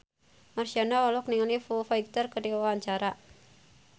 Marshanda olohok ningali Foo Fighter keur diwawancara